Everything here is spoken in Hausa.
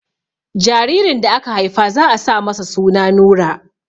Jaririn da aka Haifa za a sa masa suna Nura